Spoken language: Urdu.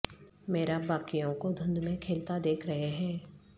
میراب باقیوں کو دھند میں کھیلتا دیکھ رہے ہیں